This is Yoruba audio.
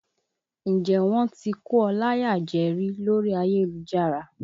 Ǹjẹ́ wọ́n ti kó ọ láyà jẹ rí lórí ayélujára?